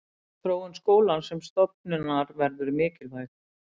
Þróun skólans sem stofnunar verður mikilvæg.